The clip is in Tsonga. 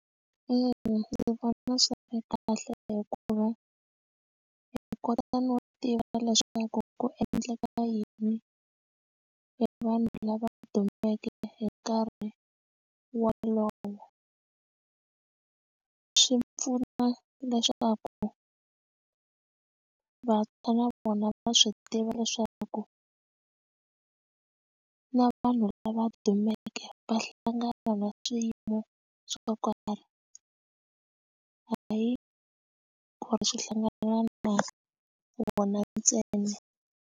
Ina, ndzi vona swi ri kahle hikuva hi kota no tiva leswaku ku endleka yini hi vanhu lava dumeke hi nkarhi wolowo swi pfuna leswaku vantshwa na vona va swi tiva leswaku na vanhu lava dumeke va hlangana na swiyimo swo karhi hayi ku ri swi hlangana na vona ntsena.